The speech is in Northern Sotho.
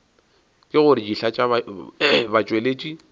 ke gore dihlaa tša batšweletši